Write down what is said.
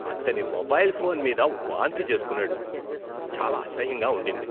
అతని mobile phone మీద వాంతి చేసుకున్నాడు. చాలా అసహ్యంగా ఉండింది.